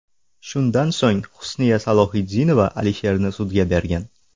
Shundan so‘ng Husniya Salohiddinova Alisherni sudga bergan.